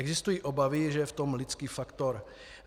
Existují obavy, že je v tom lidský faktor.